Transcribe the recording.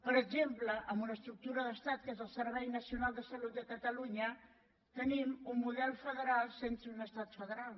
per exemple amb una estructura d’estat que és el servei nacional de salut de catalunya tenim un model federal sense un estat federal